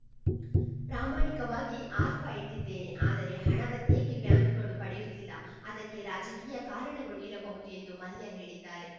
ಪ್ರಾಮಾಣಿಕವಾಗಿ ಆರ್ಫ ಇಟ್ಟಿದ್ದೇನೆ ಆದರೆ ಹಣವನ್ನೇಕೆ ಬ್ಯಾಂಕುಗಳು ಪಡೆಯುತ್ತಿಲ್ಲ ಅದಕ್ಕೆ ರಾಜಕೀಯ ಕಾರಣಗಳು ಇರಬಹುದು ಎಂದು ಮಲ್ಯ ಹೇಳಿದ್ದಾರೆ